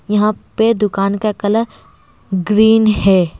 यहाँ पे दुकान का कलर ग्रीन है।